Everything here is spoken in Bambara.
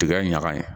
Tigɛ ɲaga in